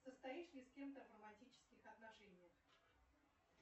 состоишь ли с кем то в романтических отношениях